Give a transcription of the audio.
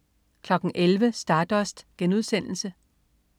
11.00 Stardust*